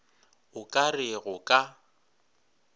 o ka re go ka